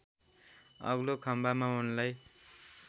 अग्लो खम्बामा उनलाई